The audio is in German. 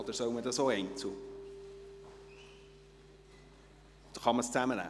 Oder soll man darüber auch einzeln abstimmen?